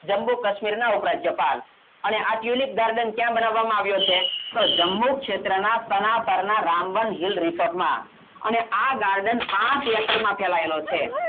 જમ્મુ કાશ્મીર ના ઉપરાજ્યપાલ અને આ tulip garden કયા બનવામાં આવ્યો છે તો જમ્મુ ક્ષેત્રના સનાતરના રામબન hill resorts માં અને garden પાંચ acres માં ફેલાયેલો છે